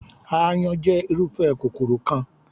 Aáyán jẹ́ irúfẹ́ kòkòrò kan.